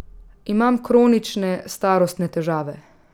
Imam kronične, starostne težave.